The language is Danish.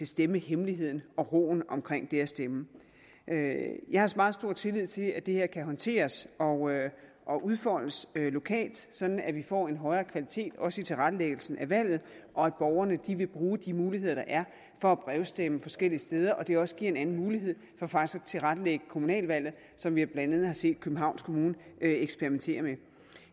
stemmehemmeligheden og roen omkring det at stemme jeg har meget stor tillid til at det her kan håndteres og og udfoldes lokalt sådan at vi får en højere kvalitet også i tilrettelæggelsen af valget og at borgerne vil bruge de muligheder der er for at brevstemme forskellige steder og at det også giver en anden mulighed for faktisk at tilrettelægge kommunalvalget som vi blandt andet har set københavns kommune eksperimentere med